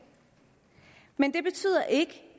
men det betyder ikke